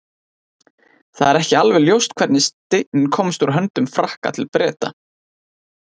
það er ekki alveg ljóst hvernig steinninn komst úr höndum frakka til breta